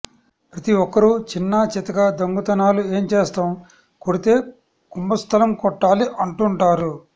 ప్రతి ఒక్కరూ చిన్నా చితకా దొంగతనాలు ఎం చేస్తాం కొడితే కుంబస్థలం కొట్టాలి అంటుంటారు